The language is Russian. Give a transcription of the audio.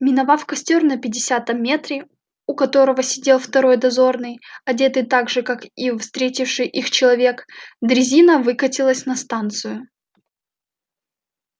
миновав костёр на пятидесятом метре у которого сидел второй дозорный одетый так же как и встретивший их человек дрезина выкатилась на станцию